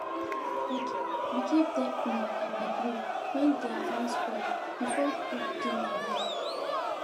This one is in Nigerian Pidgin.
we give dem um our grill when their own spoil before people begin arrive